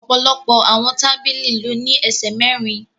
Ọ̀pọ̀lọpọ̀ àwọn tábìlì ló ní ẹsẹ̀ mẹ́rin